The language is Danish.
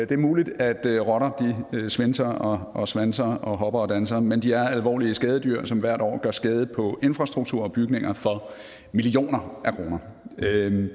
det er muligt at rotter svinser og svanser og hopper og danser men de er alvorlige skadedyr som hvert år gør skade på infrastruktur og bygninger for millioner af kroner